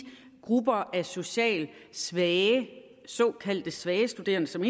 grupper af socialt svage såkaldte svage studerende som